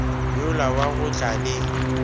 yola wa go tla le